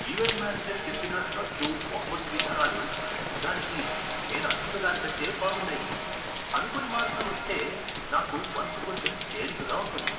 Event manager చెప్పిన రద్దు, వాపసు విధానాలు నిజానికి నేను అనుకున్నదానికంటే బాగున్నాయి! అనుకోని మార్పులు వస్తే నాకు మనసు కొంచెం తేలికగా ఉంటుంది.